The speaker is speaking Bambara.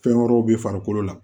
Fɛn wɛrɛw bɛ farikolo la